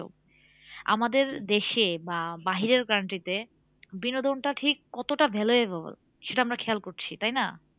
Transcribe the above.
আমাদের দেশে বা বাহিরের country তে বিনোদনটা ঠিক কতটা valuable সেটা আমরা খেয়াল করছি তাই না?